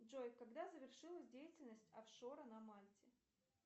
джой когда завершилась деятельность офшора на мальте